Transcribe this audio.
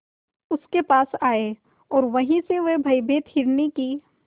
उसके पास आए और वहीं से वह भयभीत हिरनी की